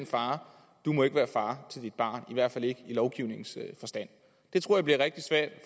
far du må ikke være far til dit barn i hvert fald ikke i lovgivningens forstand det tror jeg bliver rigtig svært